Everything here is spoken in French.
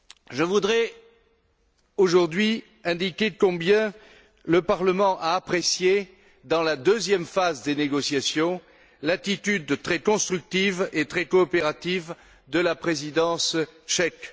Je voudrais aujourd'hui indiquer combien le Parlement a apprécié, dans la deuxième phase des négociations, l'attitude très constructive et très coopérative de la présidence tchèque.